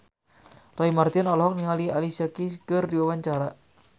Roy Marten olohok ningali Alicia Keys keur diwawancara